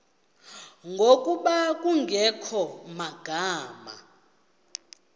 ngokuba kungekho magama